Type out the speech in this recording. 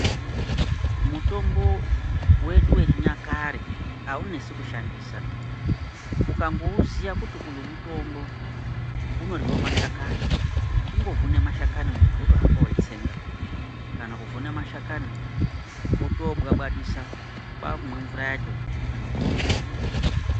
Mutombo wedu wechinyakare haunetsi kushandisa, ukangouziya kuti uyu mutombo unoryiwe mashakani kungovhune mashani muntu wohamba weitsenga kana kuvhune mashakani wotobwabwadisa kwakumwe mvura yacho kana kufukira.